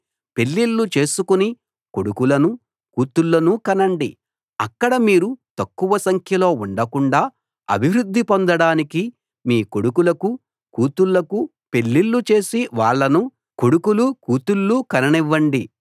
పెళ్ళిళ్ళు చేసుకుని కొడుకులనూ కూతుళ్ళనూ కనండి అక్కడ మీరు తక్కువ సంఖ్యలో ఉండకుండా అభివృద్ధి పొందడానికి మీ కొడుకులకూ కూతుళ్ళకూ పెళ్ళిళ్ళు చేసి వాళ్ళను కొడుకులూ కూతుళ్ళూ కననివ్వండి